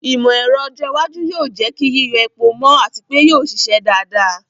Ìmọ̀ ẹ̀rọ ọjọ́ iwájú yóò jẹ́ kí yíyọ epo mọ́ àti pé yóò ṣiṣẹ́ dáadáa.